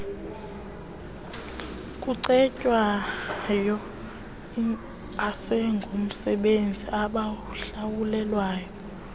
kucetywayo asingomsebenzi abawuhlawulelwayo